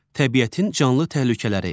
Təbiətin canlı təhlükələri.